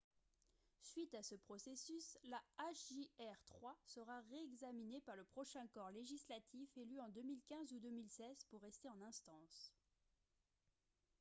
suite à ce processus la hjr-3 sera réexaminée par le prochain corps législatif élu en 2015 ou 2016 pour rester en instance